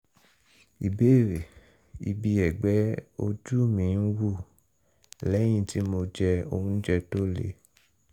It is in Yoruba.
ìbéèrè: ibi ẹ̀gbẹ́ ojú mi ń ń wù lẹ́yìn tí mo jẹ oúnjẹ tó le